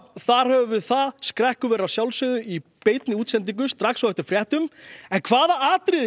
þar höfum við það skrekkur verður í beinni útsendingu strax eftir fréttir en hvaða